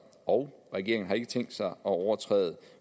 og regeringen har ikke tænkt sig at overtræde